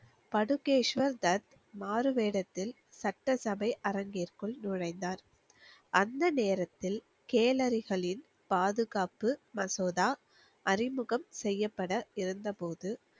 பதுகேஷ்வர் தத் மாறுவேடத்தில் சட்டசபை அரங்கிற்குள் நுழைந்தார் அந்த நேரத்தில் பாதுகாப்பு மசோதா அறிமுகம் செய்யப்பட இருந்தபோது